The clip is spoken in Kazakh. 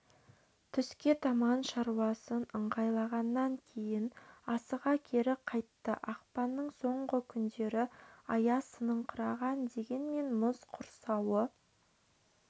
түске таман шаруасын ыңғайлағаннан кейін асыға кері қайтты ақпанның соңғы күндері аяз сыныңқыраған дегенмен мұз құрсауы